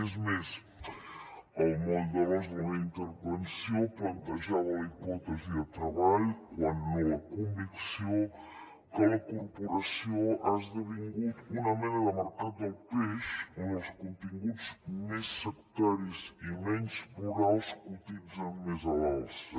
és més el moll de l’os de la meva intervenció plantejava la hipòtesi de treball quan no la convicció que la corporació ha esdevingut una mena de mercat del peix on els continguts més sectaris i menys plurals cotitzen més a l’alça